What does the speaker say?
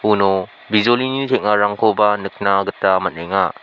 uno bijolini teng·arangkoba nikna gita man·enga.